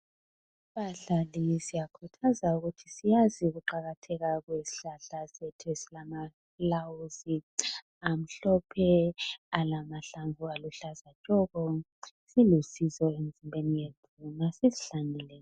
Bahlali siyakhuthazwa kubana siyazi ukuqakatheka kwezihlahla zethu ezilamaflawuzi amhlopha alamhlambu aluhlaza tshoko silusizo emzimbeni yethu masisihlanyele